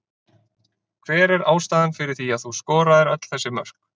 Hver er ástæðan fyrir því að þú skoraðir öll þessi mörk?